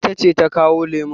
Ita ce ta kawo lemun.